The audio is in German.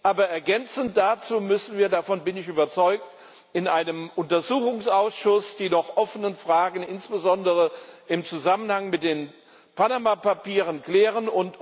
Aber ergänzend dazu müssen wir davon bin ich überzeugt in einem Untersuchungsausschuss die noch offenen Fragen insbesondere im Zusammenhang mit den Panama Papieren klären.